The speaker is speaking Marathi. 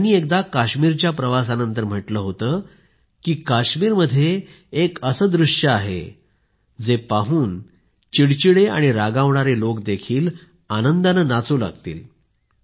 त्यांनी एकदा काश्मीरच्या प्रवासानंतर म्हटलं होतं की काश्मीरमध्ये एक असे दृश्य आहे ते पाहून चिडचिडे आणि रागावणारे लोक देखील आनंदाने नाचू लागतील